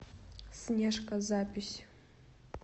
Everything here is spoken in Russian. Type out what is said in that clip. снежка запись